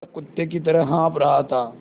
वह कुत्ते की तरह हाँफ़ रहा था